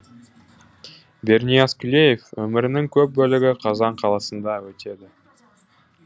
бернияз күлеев өмірінің көп бөлігі қазан қаласында өтеді